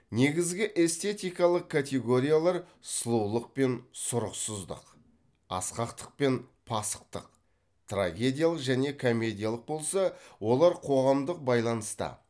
негізгі эстетикалық категориялар сұлулық пен сұрықсыздық асқақтық пен пасықтық трагедиялық және комедиялық болса олар қоғамдық байланыста